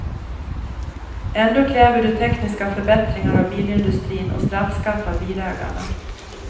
Ändå kräver du tekniska förbättringar av bilindustrin och straffskatt av bilägarna.